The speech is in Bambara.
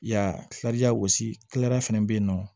Ya tila jagosi tilara fana bɛ yen nɔ